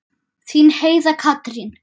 Þín Heiða Katrín.